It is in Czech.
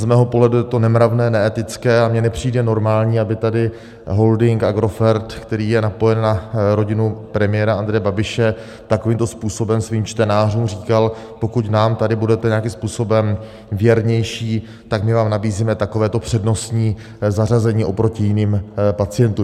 Z mého pohledu je to nemravné, neetické, a mně nepřijde normální, aby tady holding Agrofert, který je napojen na rodinu premiéra Andreje Babiše, takovýmto způsobem svým čtenářům říkal: pokud nám tady budete nějakým způsobem věrnější, tak my vám nabízíme takovéto přednostní zařazení oproti jiným pacientům.